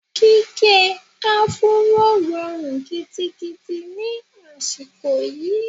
Gígẹ áfúró rọrùn gidigidi ni àsìkò yìí.